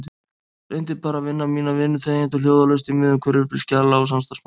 Reyndi bara að vinna mína vinnu þegjandi og hljóðalaust í miðjum hvirfilbyl skjala og samstarfsmanna.